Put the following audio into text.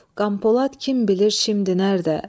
Qampolad kim bilir şimdi nədə?